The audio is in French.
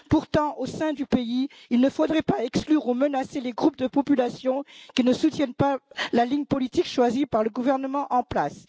Pourtant, au sein du pays, il ne faudrait pas exclure ou menacer les groupes de population qui ne soutiennent pas la ligne politique choisie par le gouvernement en place.